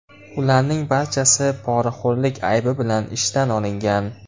Ularning barchasi poraxo‘rlik aybi bilan ishdan olingan.